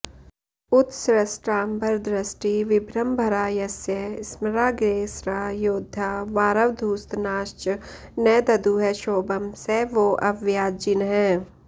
उत्सृष्टाम्बरदृष्टिविभ्रमभरा यस्य स्मराग्रेसरा योधा वारवधूस्तनाश्च न दधुः क्षोभं स वोऽव्याज्जिनः